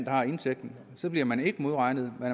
har indtægten så bliver man ikke modregnet men